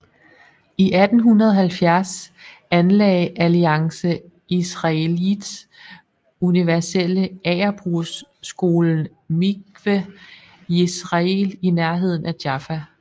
I 1870 anlagde Alliance Israélite Universelle agerbrugsskolen miqwe jisrael i nærheden af Jaffa